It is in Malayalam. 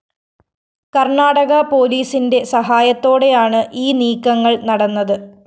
കര്‍ണാടക പോലീസിന്റെ സഹായത്തോടെയാണ് ഈ നീക്കങ്ങള്‍ നടന്നത്